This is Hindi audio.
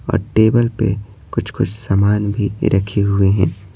और टेबल पर कुछ-कुछ सामान भी रखे हुए हैं।